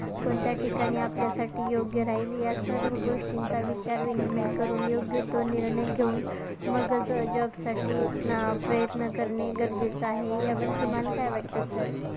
कोणत्या ठिकाणी आपल्यासाठी योग्य राहील. या सर्व गोष्टींचा विचार विनिमय करून योग्यतो निर्णय घेऊन मगचं अं job साठी ना प्रयत्न करणे गरजेचे आहे, यावर तुम्हाला काय वाटतं sir